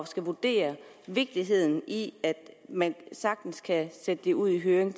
skal vurdere vigtigheden i at man sagtens kan sætte det ud i høring